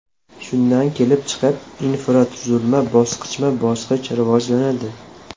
Shundan kelib chiqib, infratuzilma bosqichma-bosqich rivojlanadi.